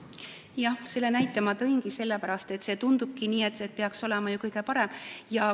Jah, selle näite ma tõingi sellepärast, et tundubki nii, et kodus peaks olema ju kõige parem.